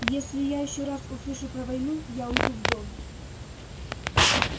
если я ещё раз услышу про войну я уйду в дом